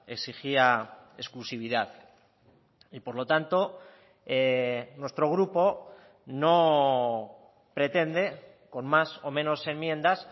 exigía exclusividad y por lo tanto nuestro grupo no pretende con más o menos enmiendas